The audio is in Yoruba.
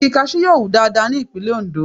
Igi Kaṣú yóò wù dáadáa ní ìpínlè Ondo.